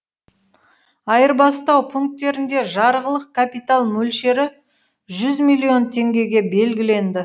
айырбастау пунктерінде жарғылық капитал мөлшері жүз миллион теңгеге белгіленді